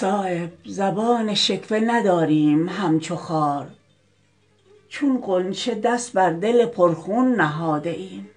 صایب زبان شکوه نداریم همچو خار چون غنچه دست بر دل پرخون نهاده ایم